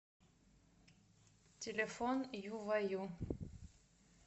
телефон юваю